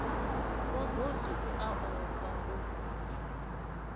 wa goswi u ofha u